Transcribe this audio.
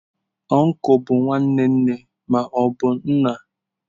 Uncle bụ nwanne nne ma ọ bụ nna.